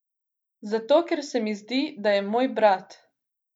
Zato, ker se mi zdi, da je moj brat.